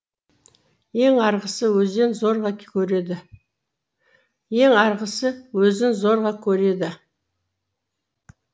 ең арғысы өзін зорға көреді